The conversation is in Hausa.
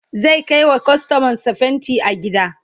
zai Kai wa kustomar sa fainti gida